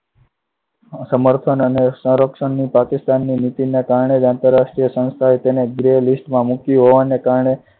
સમર્થન અને સંરક્ષણની પાકિસ્તાનની નીતિ ના કારણે જ આંતરરાષ્ટ્રીય સંસ્થાએ તેને gray list માં મુક્યું હોવાના કારણે